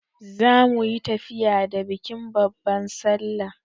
Za muyi tafiya da bikin babban sallah.